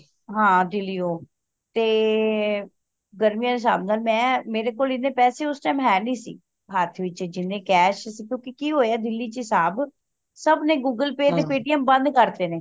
ਹਾਂ ਦਿੱਲੀਓਂ ਤੇ ਗਰਮੀਆਂ ਦੇ ਹਿਸਾਬ ਨਾਲ ਮੈਂ ਮੇਰੇ ਕੋਲ ਹਨ ਪੈਸੇ ਉਸ time ਹੈ ਨਹੀਂ ਸੀ ਹੱਥ ਵਿਚ ਜਿਹਨੇ cash ਸੀ ਕਿਉਂਕਿ ਕਿ ਹੋਇਆ ਦਿੱਲੀ ਚ ਹਿਸਾਬ ਸਭ ਨੇ google pay ਤੇ paytm ਬੰਦ ਕਰਤੇ ਨੇ